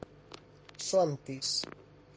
Svandís